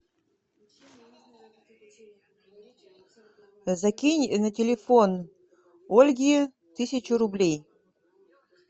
закинь на телефон ольги тысячу рублей